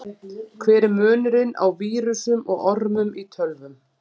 Hver er munurinn á vírusum og ormum í tölvum?